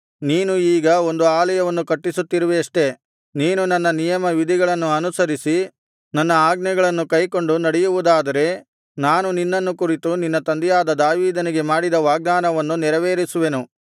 ನೀನು ಈಗ ಒಂದು ಆಲಯವನ್ನು ಕಟ್ಟಿಸುತ್ತಿರುವಿಯಷ್ಟೆ ನೀನು ನನ್ನ ನಿಯಮ ವಿಧಿಗಳನ್ನು ಅನುಸರಿಸಿ ನನ್ನ ಆಜ್ಞೆಗಳನ್ನು ಕೈಕೊಂಡು ನಡೆಯುವುದಾದರೆ ನಾನು ನಿನ್ನನ್ನು ಕುರಿತು ನಿನ್ನ ತಂದೆಯಾದ ದಾವೀದನಿಗೆ ಮಾಡಿದ ವಾಗ್ದಾನವನ್ನು ನೆರವೇರಿಸುವೆನು